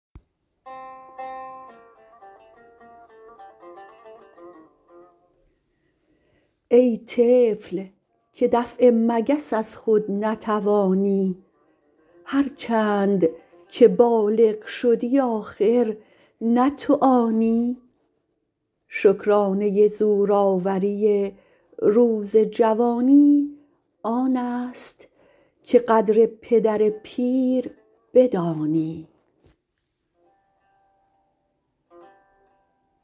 ای طفل که دفع مگس از خود نتوانی هر چند که بالغ شدی آخر نه تو آنی شکرانه زور آوری روز جوانی آنست که قدر پدر پیر بدانی